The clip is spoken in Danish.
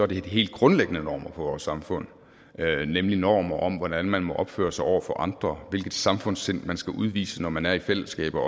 det de helt grundlæggende normer for vores samfund nemlig normer om hvordan man må opføre sig over for andre hvilket samfundssind man skal udvise når man er i fællesskaber og